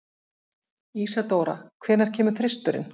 Ísadóra, hvenær kemur þristurinn?